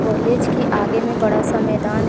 college के आगे में बड़ा सा मैदान--